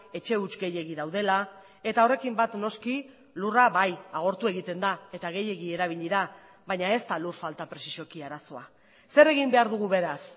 etxe huts gehiegi daudela eta horrekin bat noski lurra bai agortu egiten da eta gehiegi erabili da baina ez da lur falta prezisuki arazoa zer egin behar dugu beraz